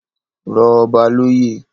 Rọ ọba loyè